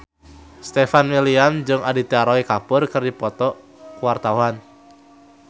Stefan William jeung Aditya Roy Kapoor keur dipoto ku wartawan